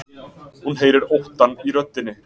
Hún heyrir óttann í röddinni.